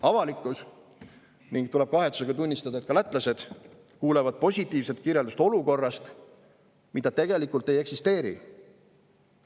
Avalikkus kuuleb – ning tuleb kahetsusega tunnistada, et ka lätlased kuulevad – positiivset kirjeldust olukorrast, mida tegelikult ei eksisteeri.